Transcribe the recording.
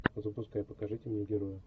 запускай покажите мне героя